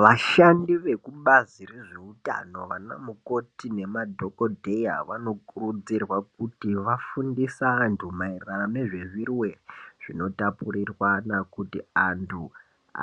Vashandi vekubazi rezveutano nanamukoti nemadhogodheya vanokurudzirwa kuti vafunde vantu maererano nezvirwere zvinotapurirwana kuti antu